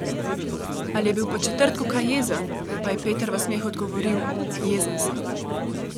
Ali je bil po četrtku kaj jezen, pa je Peter v smehu odgovoril: "Jezen sem.